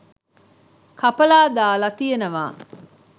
කපලා දාලා තියෙනවා.